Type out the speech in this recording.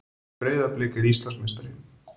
Breiðablik er Íslandsmeistari